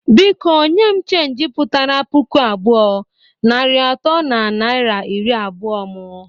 Biko nye m cheenji putara puku abụọ, narị atọ na naira iri abụọ mụ!